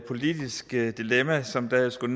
politisk dilemma som da jeg skulle